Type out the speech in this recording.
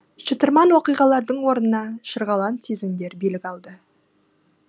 шытырман оқиғалардың орнына шырғалаң сезімдер билік алды